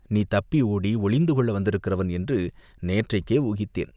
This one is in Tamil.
நீ தப்பி ஓடி ஒளிந்து கொள்ள வந்திருக்கிறவன் என்று நேற்றைக்கே ஊகித்தேன்.